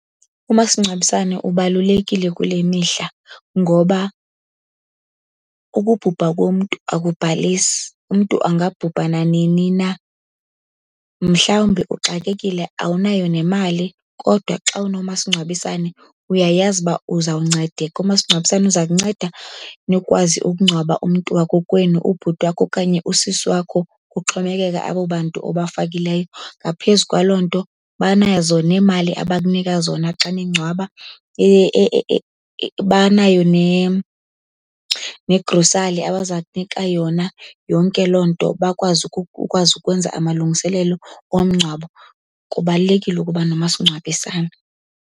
Umasingcwabisane ubalulekile kule mihla ngoba ukubhubha komntu akubhalisi, umntu angabhubha nanini na. Mhlawumbi uxakekile awunayo nemali kodwa xa unomasingcwabisane uyayazi uba uzawuncedeka. Umasingcwabisane uza kunceda nikwazi ukungcwaba umntu wakokwenu, ubhuti wakho okanye usisi wakho, kuxhomekeka abo bantu obafakileyo. Ngaphezu kwaloo nto banazo nemali abakunika zona xa ningcwaba. Banayo negrosari abaza kunika yona, yonke loo nto bakwazi ukwazi ukwenza amalungiselelo omngcwabo. Kubalulekile ukuba nomasingcwabisane.